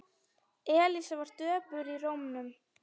Elísa var döpur í rómnum.